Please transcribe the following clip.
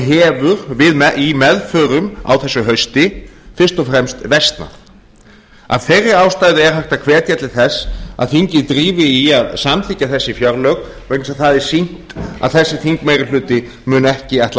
hefur í meðförum á þessu hausti fyrst og fremst versnað af þeirri ástæðu er hægt að hvetja til þess að að þingið drífi í að samþykkja þessi fjárlög vegna þess að það er sýnt að þessi þingmeirihluti muni ekki ætla að